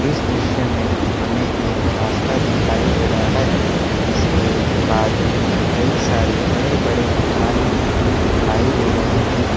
इस दृश्य में हमें एक रास्ता दिखाई दे रहा है जिसके बाजू में कई सारे बड़े बड़े मकान दिखाई दे रहे हैं।